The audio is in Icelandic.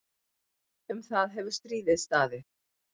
Um það hefur stríðið staðið.